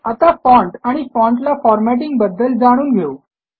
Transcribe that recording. आता फाँट आणि फाँटला फॉरमॅटींग बद्दल जाणून घेऊ